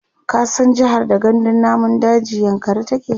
ka san jehar da gandun namun dajin yankari take?